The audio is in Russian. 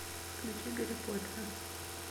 включи гарри поттера